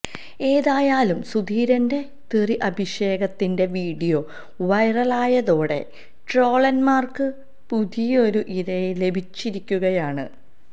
ഏതായാലും സുധീരന്റെ തെറിഅഭിഷേകത്തിന്റെ വീഡിയോ വൈറലായതോടെ ട്രോളര്മാര്ക്ക് പുതിയൊരു ഇരയെ ലഭിച്ചിരിക്കുകയാണ്